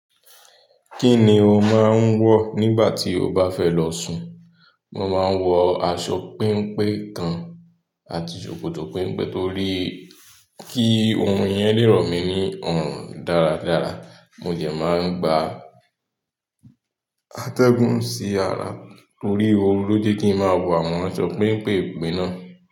Kí ni o máa ń wọ̀ nígbà tí o bá fẹ́ lọ sùn? Mo máa ń wọ aṣọ péńpé kan àti ṣòkòtò péńpé torí kí orun yẹn le rọ̀ mí ní ọrun dáradára. Mo de máa ń gba atẹ́gùn sí ara torí ooru lóje kí n má wọ àwọn aṣọ péńpé pe náà.